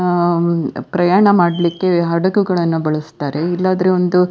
ಅಹ್ ಪ್ರಯಾಣ ಮಾಡ್ಲಿಕ್ಕೆ ಹಡಗು ಗಳನ್ನ ಬಳಸ್ತಾರೆ ಇಲ್ಲ ಅಂದ್ರೆ ಒಂದು --